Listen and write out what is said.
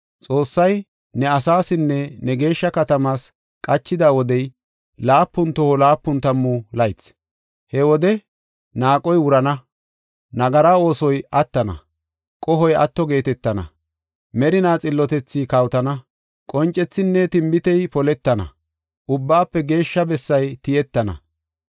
“Xoossay ne asaasinne ne geeshsha katamaas qachida wodey, laapun toho laapun tammu laythi. He wode naaqoy wurana; nagara oosoy attana; qohoy atto geetetana; merinaa xillotethi kawotana; qoncethinne tinbitey poletana Ubbaafe Geeshsha bessay tiyettana.